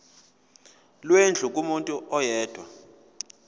lwendlu kumuntu oyedwa